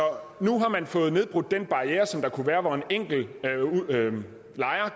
nu har man fået nedbrudt den barriere der kunne være hvor en enkelt lejer